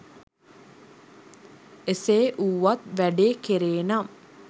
එසේ වුවත් වැඩේ කෙරේනම්